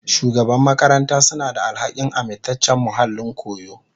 Shugaban makaranta suna da alhakin amintaccen muhallin koyo.